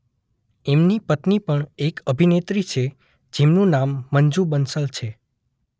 એમની પત્ની પણ એક અભિનેત્રી છે જેનું નામ મંજુ બંસલ છે.